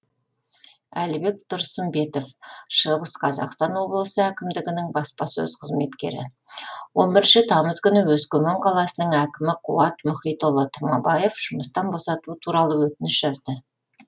әлібек тұрсымбетов шығыс қазақстан облысы әкімдігінінің баспасөз қызметкері он бірінші тамыз күні өскемен қаласының әкімі қуат мұхитұлы тұмабаев жұмыстан босату туралы өтініш жазды